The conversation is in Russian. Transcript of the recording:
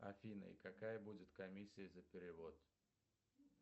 афина и какая будет комиссия за перевод